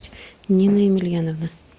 нина емельяновна